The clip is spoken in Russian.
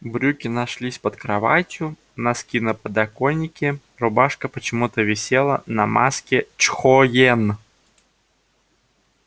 брюки нашлись под кроватью носки на подоконике рубашка почему-то висела на маске чхоен